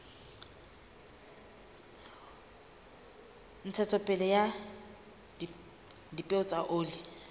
ntshetsopele ya dipeo tsa oli